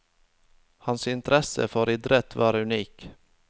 Hans interesse for idrett var unik.